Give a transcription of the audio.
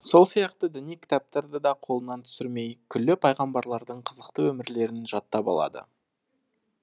сол сияқты діни кітаптарды да қолынан түсірмей күллі пайғамбарлардың қызықты өмірлерін жаттап алады